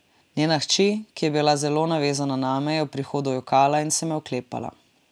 Njena hči, ki je bila zelo navezana name, je ob odhodu jokala in se me oklepala.